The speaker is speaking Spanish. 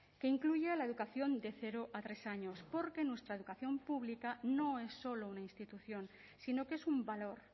que incluya la educación de cero a tres años porque nuestra educación pública no es solo una institución sino que es un valor